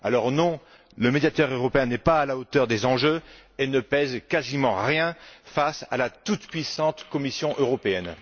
Alors non, le Médiateur européen n'est pas à la hauteur des enjeux et ne pèse quasiment rien face à la toute puissante Commission européenne.